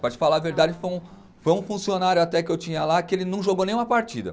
Para te falar a verdade, foi um, foi um funcionário até que eu tinha lá que ele não jogou nenhuma partida.